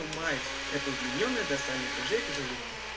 это удлинённая дорсальная брыжейка желудка